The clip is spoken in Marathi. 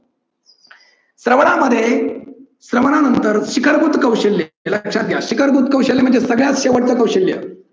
श्रवणामध्ये श्रवणानंतर शिकारभूत कौशल्य. हे लक्षात घ्या शिकार भूत कौशल्य म्हणजे सगळ्यात शेवटच कौशल्य.